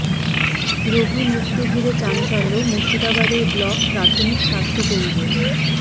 রোগী মৃত্যু ঘিরে চাঞ্চল্য মুর্শিদাবাদের ব্লক প্রাথমিক স্বাস্থ্য কেন্দ্রে